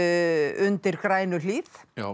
undir Grænuhlíð